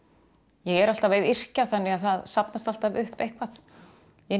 ég er alltaf að yrkja þannig að það safnast alltaf upp eitthvað inn í